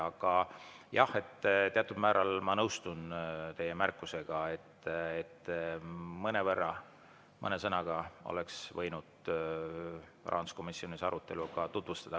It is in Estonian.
Aga jah, teatud määral ma nõustun teie märkusega, et mõnevõrra, mõne sõnaga oleks võinud rahanduskomisjoni arutelu ka tutvustada.